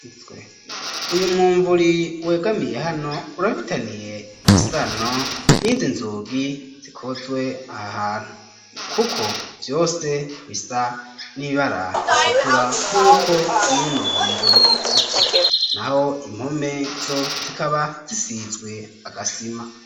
Uyu mwumvuri wegamiye hano urafitaniye isano nizi nzugi zikozwe aha hantu kuko vyose bisa n'ibara ritukura nkuko nuno mwumvuri usa naho impome zo zikaba zisizwe agasima